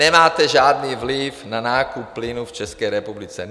Nemáte žádný vliv na nákup plynu v České republice.